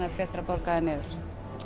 er betra að borga þær niður